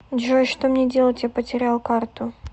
джой что мне делать я потерял карту